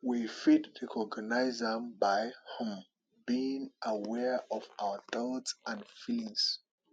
we fit recognize am by um being aware of our thoughts and feelings